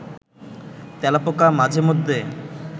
তেলাপোকা মাঝে মধ্যে